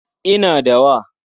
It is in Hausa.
Ina da wa.